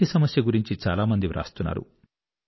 నీటి సమస్య గురించి చాలామంది చాలా వ్రాస్తున్నారు